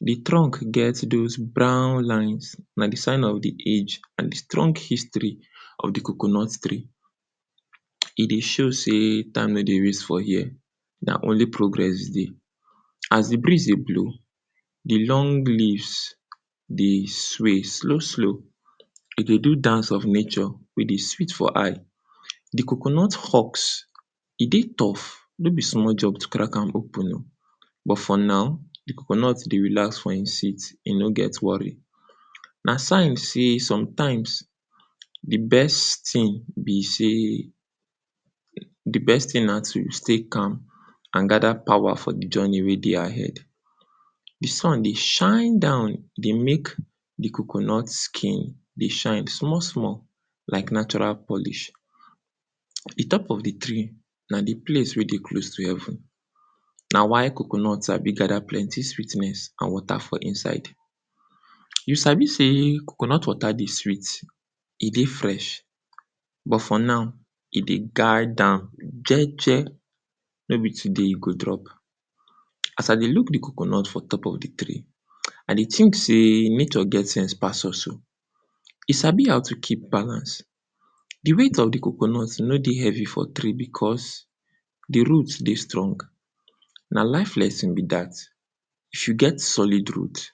Di trunk get dose brown lines, na di sign of di age and di strong history of di coconut tree. E dey show sey time no dey waste for here, na only progress dey. As di breeze dey blow, di long leaves dey sway, slow slow, e dey do dance of nature wey dey sweet for eye. Di coconut husk, e dey tough, no be small job to crack am open o, but for now, di coconut dey relax for e seat, e no get worry. Na sign sey, sometimes di best tin be sey, di best tin na to stay calm and gada power for di journey wey dey ahead. Di sun dey shine down, e dey mek di coconut skin dey shine small small like natural polish. E talk of di tree na di place wey dey close to heaven, na why coconut sabi gada plenty sweetness and water for inside. You sabi sey coconut water dey sweet, e dey fresh, but for now, e dey guide am jeje, no be today you go drop. As I dey look di coconut for top of di tree, I dey tink sey, nature get sense pass us o, e sabi how to keep balance, di weight of di coconut e no dey heavy for tree because di root dey strong. Na life lesson be dat, if you get solid root,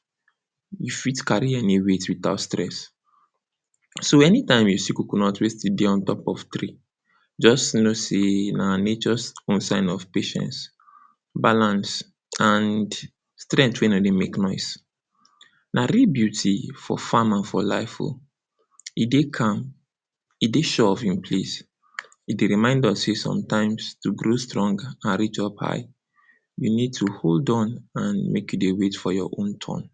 you fit carry any weight without stress. So, any time you see coconut wey still dey on top of tree, just know sey na nature’s own sign of patience, balance and strengt wey nor dey make noise. Na real beauty for farmer for life o. E dey calm, e dey sure of e place, e dey remind us sey sometimes, to grow strong and reach up high, you need to hold on and mek you dey wait for your own turn.